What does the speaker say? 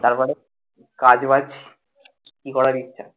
তারপরে কাজ বাজ কি করার ইচ্ছা?